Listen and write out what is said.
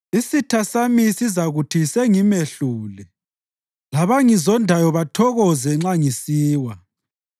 isitha sami sizakuthi, “Sengimehlule,” labangizondayo bathokoze nxa ngisiwa.